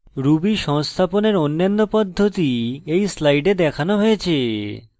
ruby সংস্থাপনের অন্যান্য পদ্ধতি এই slide দেখানো হয়েছে